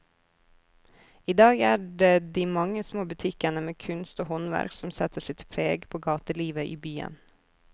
I dag er det de mange små butikkene med kunst og håndverk som setter sitt preg på gatelivet i byen.